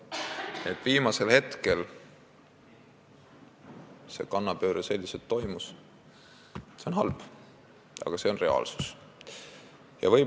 See, et viimasel hetkel toimus selline kannapööre, on halb, aga see on reaalsus.